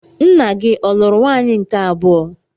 Nna gị ọ̀ lụrụ nwunye nke abụọ?